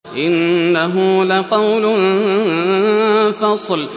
إِنَّهُ لَقَوْلٌ فَصْلٌ